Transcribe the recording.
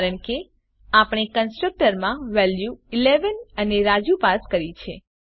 કારણ કે આપણે કન્સ્ટ્રકટર માં વેલ્યું ૧૧ અને રાજુ પાસ કરી છે